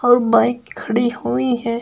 और बाइक खड़ी हुई है।